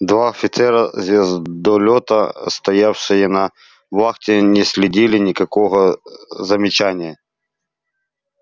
два офицера звездолёта стоявшие на вахте не следили никакого замечания